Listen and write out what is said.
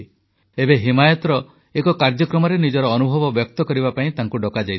ଏବେ ହିମାୟତର ଏକ କାର୍ଯ୍ୟକ୍ରମରେ ନିଜର ଅନୁଭବ ବ୍ୟକ୍ତ କରିବା ପାଇଁ ତାଙ୍କୁ ଡକାଯାଇଥିଲା